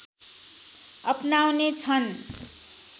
अपनाउने छन्